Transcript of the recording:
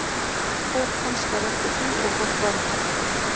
Skot hans var eftir því og fór framhjá.